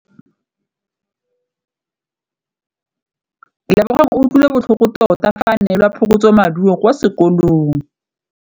Lebogang o utlwile botlhoko tota fa a neelwa phokotsômaduô kwa sekolong.